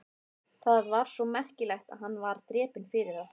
Það var svo merkilegt að hann var drepinn fyrir það?